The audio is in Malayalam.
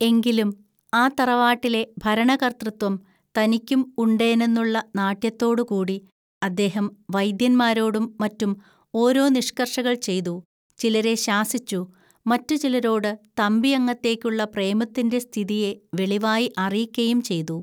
എങ്കിലും ആ തറവാട്ടിലെ ഭരണകർത്തൃത്വം തനിക്കും ഉണ്ടേനന്നുള്ള നാട്യത്തോടുകൂടി അദ്ദേഹം വൈദ്യന്മാരോടും മറ്റും ഓരോ നിഷ്‌കർഷകൾ ചെയ്തു, ചിലരെ ശാസിച്ചു, മറ്റു ചിലരോട് തമ്പിഅങ്ങത്തേക്കുള്ള പ്രേമത്തിന്റെ സ്ഥിതിയെ വെളിവായി അറിയിക്കയും ചെയ്തു